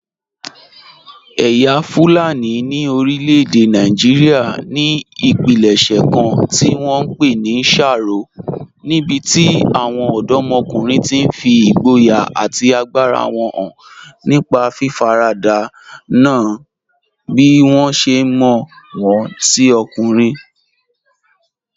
Ẹ̀yà Fulani ní orílẹ̀-èdè Nàìjíríà ní ìpilẹ̀ṣẹ̀ kan tí wọ́n ń pè ní sharo, níbi tí àwọn ọ̀dọ́kùnrin ti fi ìgboyà àti agbára wọn hàn nípa fífaradà nà án bí wọ́n ṣe mọ̀ wọ́n sí ọkùnrin.